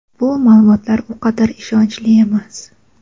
bu ma’lumotlar u qadar ishonchli emas.